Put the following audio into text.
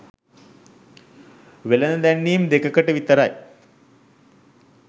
වෙළෙඳ දැන්වීම් දෙකකට විතරයි.